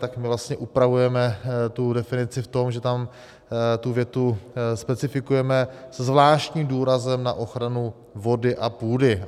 Tak my vlastně upravujeme tu definici v tom, že tam tu větu specifikujeme se zvláštním důrazem na ochranu vody a půdy.